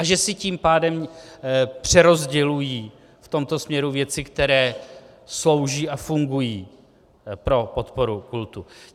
A že si tím pádem přerozdělují v tomto směru věci, které slouží a fungují pro podporu kultu.